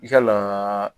Yala